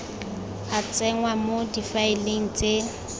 a tsenngwa mo difaeleng tse